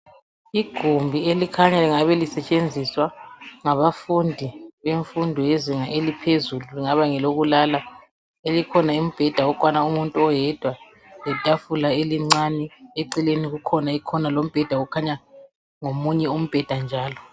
Igumbi elikhanya lingabe lisetshenziswa ngabafundi bemfundo yezinga eliphezulu. Kungaba ngelokulala elikhona umbheda okwana umuntu oyedwa letafula elincane, eceleni kukhona ikhona lombheda lomunye umbheda njalo.